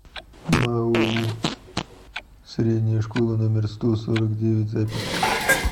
маоу средняя школа номер сто сорок девять запись